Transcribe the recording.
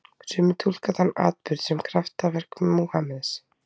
Sumir túlka þann atburð sem kraftaverk Múhameðs.